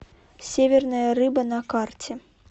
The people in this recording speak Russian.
северная рыба на карте